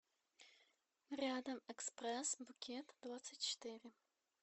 рядом экспресс букет двадцать четыре